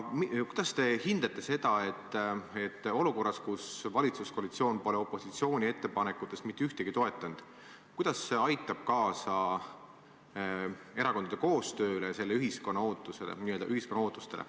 Kuidas teie hinnangul aitab olukord, kus valitsuskoalitsioon pole opositsiooni ettepanekutest mitte ühtegi toetanud, kaasa erakondade koostööle, ühiskonna ootuste täitmisele?